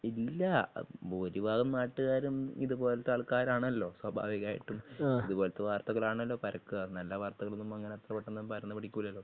ഇല്ല ഭൂരിഭാഗം നാട്ടുകാരും ഇതുപോലത്തെ ആൾക്കാരാണല്ലോസ്വഭാവികമായിട്ടും അതുപോലത്തെ വർത്തകളാണല്ലോ പരക്കുവ നല്ല വാർത്തകളൊന്നും അത്ര പെട്ടന്ന് പരന്നു പിടിക്കൂലല്ലോ?